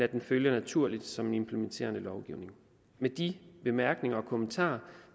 at det følger naturligt som en implementerende lovgivning med de bemærkninger og kommentarer